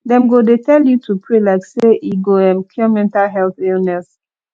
dem go dey tell you to pray like sey e go um cure mental health illness